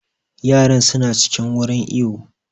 Yaran su na cikin wurin iwo